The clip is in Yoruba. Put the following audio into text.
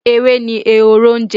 Ewé ni Ehoro ń jẹ.